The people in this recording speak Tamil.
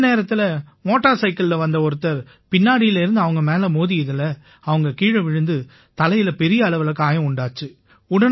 அந்த நேரத்தில மோட்டார் சைக்கிள்ல வந்த ஒருத்தர் பின்னாடிலேர்ந்து அவங்க மேல மோதினதால அவங்க கீழ விழுந்து அவங்க தலையில பெரிய அளவில காயம் உண்டாச்சு